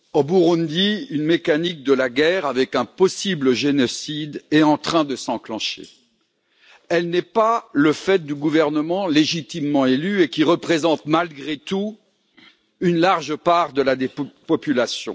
Monsieur le Président, au Burundi une mécanique de la guerre, avec un possible génocide, est en train de s'enclencher. Elle n'est pas le fait du gouvernement légitimement élu et qui représente, malgré tout, une large part de la population.